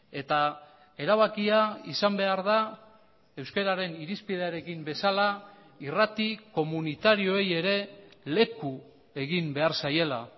eta erabakia izan behar da euskararen irizpidearekin bezala irrati komunitarioei ere leku egin behar zaiela